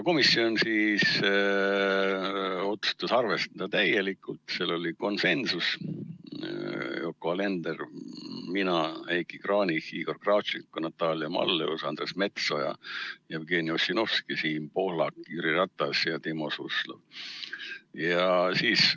Komisjon otsustas arvestada seda ettepanekut täielikult, otsus oli konsensuslik: Yoko Alender, mina, Heiki Kranich, Igor Kravtšenko, Natalia Malleus, Andres Metsoja, Jevgeni Ossinovski, Siim Pohlak, Jüri Ratas ja Timo Suslov.